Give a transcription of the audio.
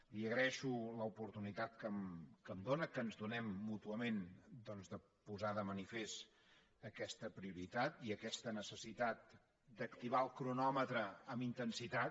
li agraeixo l’oportunitat que em dóna que ens donem mútuament de posar de manifest aquesta prioritat i aquesta necessitat d’activar el cronòmetre amb intensitat